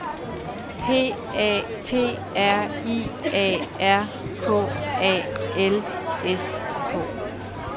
P A T R I A R K A L S K